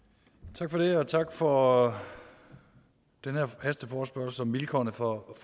tak for det og tak for den her hasteforespørgsel om vilkårene for